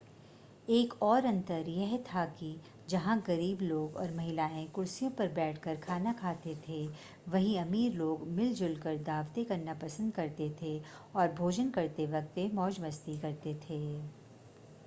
एक और अंतर यह था कि जहां गरीब लोग और महिला कुर्सियों पर बैठकर खाना खाते थे वहीं अमीर लोग मिलजुल कर दावतें करना पसंद करते थे और भोजन करते वक्त वे मौज मस्ती करते थे